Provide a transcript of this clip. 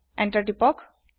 enter তিপক